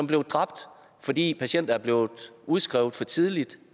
blevet dræbt fordi patienter er blevet udskrevet for tidligt